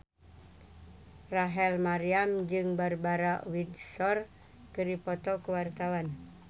Rachel Maryam jeung Barbara Windsor keur dipoto ku wartawan